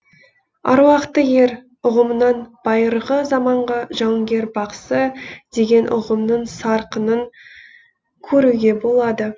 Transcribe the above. аруақты ер ұғымынан байырғы заманғы жауынгер бақсы деген ұғымның сарқынын көруге болады